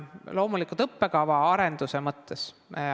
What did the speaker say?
Loomulikult õppekava arenduse mõttes.